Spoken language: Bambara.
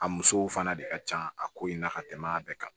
A musow fana de ka ca a ko in na ka tɛmɛ a bɛɛ kan